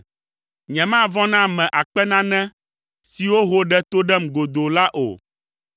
Nyemavɔ̃ na ame akpe nane siwo ho, ɖe to ɖem godoo la o.